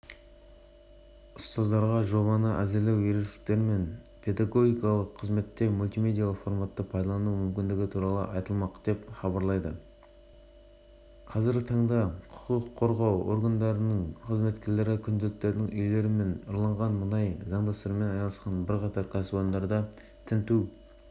қазіргі таңда құқық қорғау органдарының қызметкерлері күдіктілердің үйлері мен ұрланған мұнайды заңдастырумен айналысқан бірқатар кәсіпорында тінту